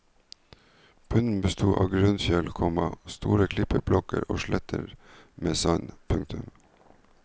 Bunnen besto av grunnfjell, komma store klippeblokker og sletter med sand. punktum